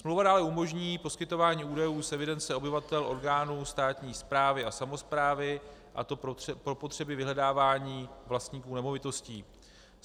Smlouva dále umožní poskytování údajů z evidence obyvatel orgánům státní správy a samosprávy, a to pro potřeby vyhledávání vlastníků nemovitostí.